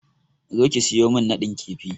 Zo ki siyo min nadin kifi!